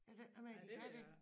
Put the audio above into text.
Er det ikke noget med de kan det